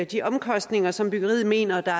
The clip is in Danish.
de omkostninger som byggeriet mener